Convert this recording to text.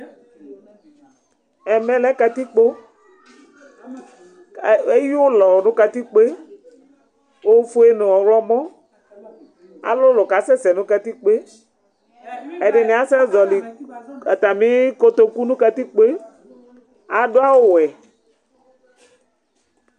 Ɛmɛ lɛ ƙatɩƙpo Eƴʊlɔ ŋʊ ƙatɩƙpo ofʊe ŋʊ ɔwlɔmɔ Alʊlʊ kasɛsɛ ŋʊ katɩkpo Ɛdɩŋɩ asɛ zɔlɩ atamɩ ƙotoƙʊ ŋʊ katɩƙpo, adʊ awʊ wɛ